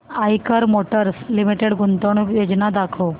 Eicher motors limited गुंतवणूक योजना दाखव